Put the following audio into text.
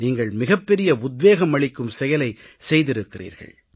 நீங்கள் மிகப்பெரிய உத்வேகம் அளிக்கும் செயலைச் செய்திருக்கிறீர்கள்